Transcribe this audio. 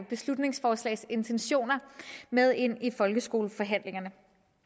beslutningsforslags intentioner med ind i folkeskoleforhandlingerne